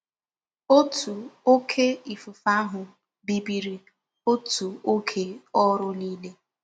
Otu oké ifufe ahụ bibiri otu oge ọrụ niile.